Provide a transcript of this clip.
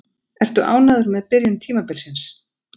Ertu ánægður með byrjun tímabilsins?